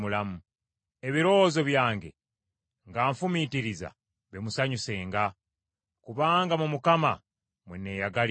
Ebirowoozo byange, nga nfumiitiriza, bimusanyusenga; kubanga mu Mukama mwe neeyagalira.